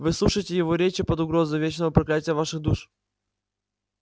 вы слушаете его речи под угрозой вечного проклятия ваших душ